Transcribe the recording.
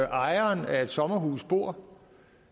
ejeren af et sommerhus bor